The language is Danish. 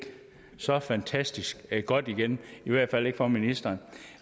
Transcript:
så fantastisk godt igen i hvert fald ikke for ministeren